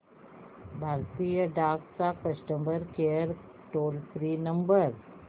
भारतीय डाक चा customer care toll free number